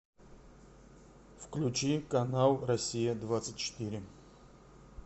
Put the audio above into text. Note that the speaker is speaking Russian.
включи канал россия двадцать четыре